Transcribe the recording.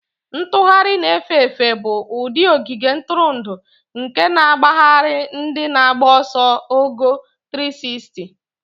Ntugharị na-efe efe bụ ụdị ogige ntụrụndụ nke na-agbagharị ndị na-agba ọsọ ogo 360.